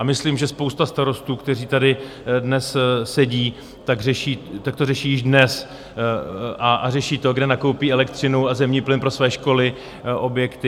A myslím, že spousta starostů, kteří tady dnes sedí, tak to řeší již dnes, a řeší to, kde nakoupí elektřinu a zemní plyn pro své školy, objekty.